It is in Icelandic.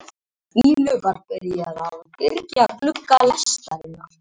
Jafnvel hundruð sjómanna á sjó